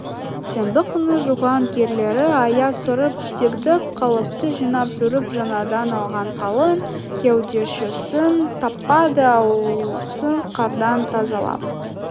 сенбі күні жуған кірлері аяз сорып дегдіп қалыпты жинап жүріп жаңадан алған қалың кеудешесін таппады ауласын қардан тазалап